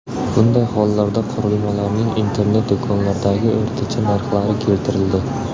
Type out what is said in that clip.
Bunday hollarda qurilmalarning internet-do‘konlardagi o‘rtacha narxlari keltirildi.